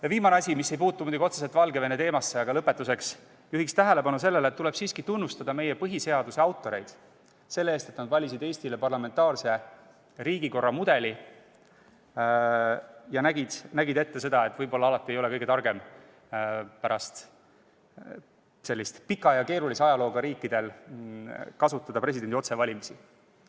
Ja viimane asi, mis ei puuduta otseselt Valgevene teemat, aga lõpetuseks: juhin tähelepanu sellele, et tuleb tunnustada meie põhiseaduse autoreid selle eest, et nad valisid Eestile parlamentaarse riigikorra mudeli ja nägid ette, et võib-olla ei ole alati kõige targem sellistel pika ja keerulise ajalooga riikidel kasutada presidendi otsevalimisi.